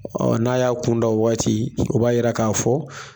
Ɔ n'a y'a kun da ɔ waati o b'a yira k'a fɔ